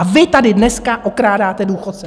A vy tady dneska okrádáte důchodce!